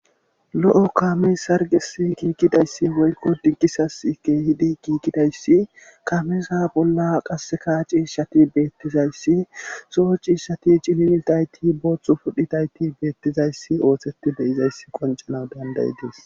lo7o kaame sargesi giigidayssi woykko dinkisas keehidi kiikidayssi kameeza bolla qaseka ciishshati beettizayssi coo ciishshati cilimiltayti booththu pudhitayti beettizayssi ooththeti beyizayssi qoncanawu dandayidees.